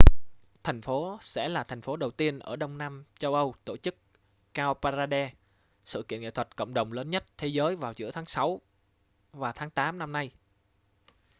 thành phố sẽ là thành phố đầu tiên ở đông nam châu âu tổ chức cowparade sự kiện nghệ thuật cộng đồng lớn nhất thế giới vào giữa tháng sáu và tháng tám năm nay